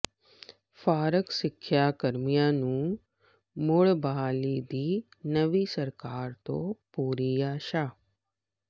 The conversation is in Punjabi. ਫਾਰਗ ਸਿੱਖਿਆ ਕਰਮੀਆਂ ਨੂੰ ਮੁੜ ਬਹਾਲੀ ਦੀ ਨਵੀਂ ਸਰਕਾਰ ਤੋਂ ਪੂਰੀ ਆਸਾਂ